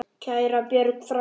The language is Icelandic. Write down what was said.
Kæra Björg frænka.